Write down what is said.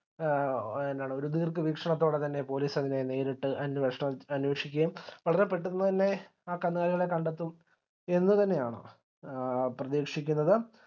A എന്താണ് ഒര് ദീർഘ വീക്ഷണത്തോടെ തന്നെ police അതിനെ നേരിട്ട് അന്വേഷണം അന്വേഷിക്കുക വളരെ പെട്ടന്ന് തന്നെ ആ കന്നുകാലികളെ കണ്ടെത്തും എന്ന് തന്നയാണ് പ്രതീക്ഷിക്കുന്നത്